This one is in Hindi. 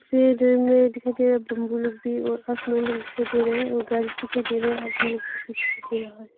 फिर में दिखाई दे रहा है बम्बू लोग भी और आसमान लोग दिखाई दे रहा है और घर दिखाई दे रहा है आदमी लोग दिखाई दे रहा है।